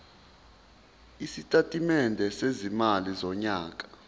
isitatimende sezimali sonyaka